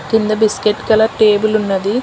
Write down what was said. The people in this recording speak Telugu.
కింద బిస్కెట్ కలర్ టేబులున్నది .